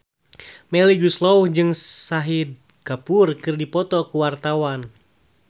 Melly Goeslaw jeung Shahid Kapoor keur dipoto ku wartawan